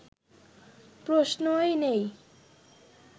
প্রশ্নই নেই